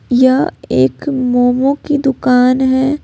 यह एक मोमो की दुकान है।